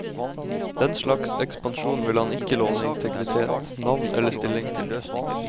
Den slags ekspansjon vil han ikke låne integritet, navn eller stilling til.